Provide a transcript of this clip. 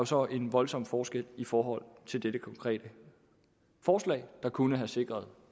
så en voldsom forskel i forhold til dette konkrete forslag der kunne have sikret